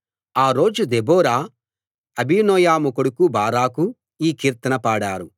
ఆ రోజు దెబోరా అబీనోయము కొడుకు బారాకు ఈ కీర్తన పాడారు